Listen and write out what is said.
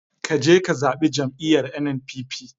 Kaje ka zabi jam'iyar NNPP